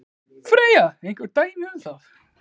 Freyja: Einhver dæmi um það?